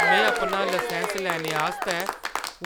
में अपना लाइसैंस लैने आस्तै